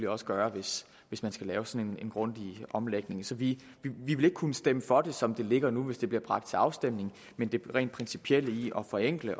også gøre hvis hvis man skal lave sådan en grundig omlægning så vi vil ikke kunne stemme for det som det ligger nu hvis det bliver bragt til afstemning men det rent principielle i at forenkle